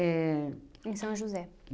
Em São José.